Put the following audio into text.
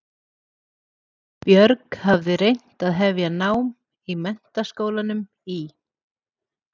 Björg hafði reynt að hefja nám í Menntaskólanum í